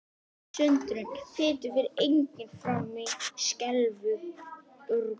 Sundrun fitu fer einnig fram í skeifugörninni.